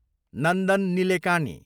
Nandan Nilekani